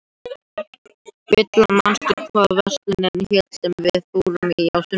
Villa, manstu hvað verslunin hét sem við fórum í á sunnudaginn?